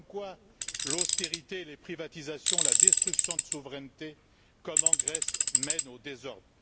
Comme quoi, l'austérité et les privatisations, la destruction de souveraineté, comme en Grèce, mènent au désordre.